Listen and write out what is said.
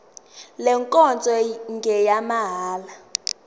le nkonzo ngeyamahala